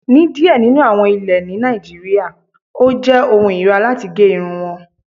Ní díẹ̀ nínú àwọn ilẹ̀ ni Nàìjíríà, ó jẹ́ ọ̀hùn irira latí gé irùn wọn.